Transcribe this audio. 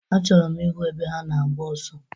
Achọrọ m ịhụ ebe ha na-agba ọsọ.